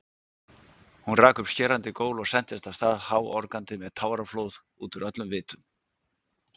Hún rak upp skerandi gól og sentist af stað háorgandi með táraflóð útúr öllum vitum.